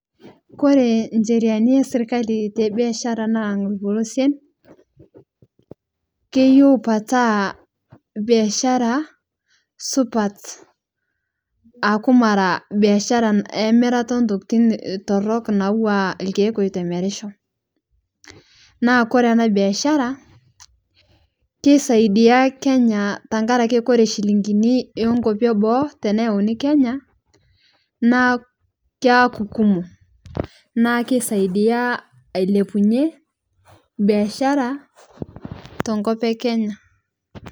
Kore ncheriani esirkali te biashara naa lpolosien keyeu petaa biashara supat aaku maraa biashara emirata entokitin torok natuwaa lkeek eitemerishoo naa Kore ana biashara keisaidia Kenya tankarakee kore shiling'inii enkopii eboo teneyeunii Kenya naa keakuu kumoo naa keisaidia ailepunye biashara tenkop ekenya.